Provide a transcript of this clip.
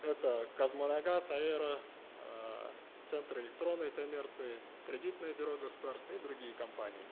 это казмунайгаз аэро э центр электронной коммерции кредитное бюро государственное и другие компании